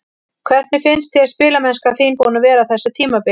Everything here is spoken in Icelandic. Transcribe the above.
Hvernig finnst þér spilamennskan þín búin að vera á þessu tímabili?